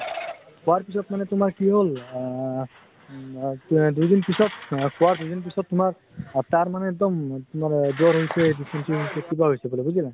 খোৱাৰ পিছত মানে তোমাৰ কি হল আহ উম মা ক্য়া দুই দিন পিছত খোৱা দুই দিন পিছত তাৰ মানে এক্দম তোমাৰ এহ জ্বৰ হৈছে, dysentery হৈছে কিবা হৈছে বুলে বুজিলে?